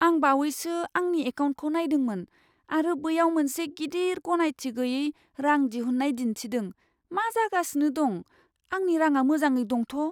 आं बावैसो आंनि एकाउन्टखौ नायदोंमोन आरो बैयाव मोनसे गिदिर, गनायथि गैयै रां दिहुननाय दिनथिदों। मा जागासिनो दं? आंनि रांआ मोजाङै दंथ'?